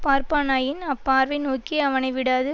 பார்ப்பானாயின் அப்பார்வை நோக்கி அவனை விடாது